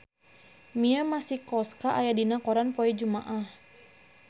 Mia Masikowska aya dina koran poe Jumaah